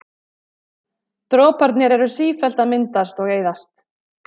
Droparnir eru sífellt að myndast og eyðast.